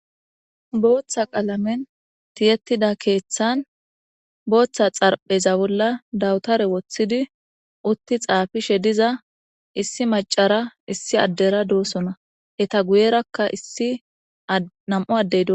Booththa qalamen tiyettida keeththan booththa xarpheza bolla dawutare woththidi utti xaafishe diza issi macara issi addera doosona heta guyerakka issi nam'u addedo